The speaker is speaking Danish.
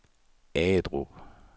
Agedrup